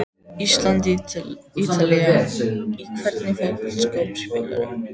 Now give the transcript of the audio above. Ísland- Ítalía Í hvernig fótboltaskóm spilar þú?